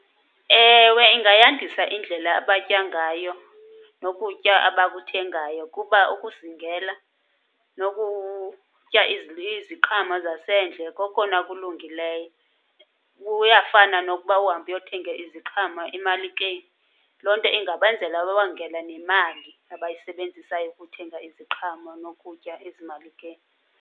Ewe, ingayandisa indlela abatya ngayo nokutya abakuthengayo kuba ukuzingela nokutya iziqhamo zasendle kokona kulungileyo. Kuyafana nokuba uhambe uyothenga iziqhamo emalikeni. Loo nto ingabenzela babongele nemali abayisebenzisayo ukuthenga iziqhamo nokutya ezimalikeni.